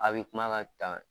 A bi kumakan la ta.